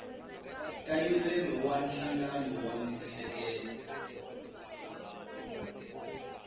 nkayivelo wa nhlangano wa miehleketo